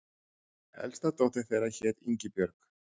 Elsta dóttir þeirra hét Ingibjörg.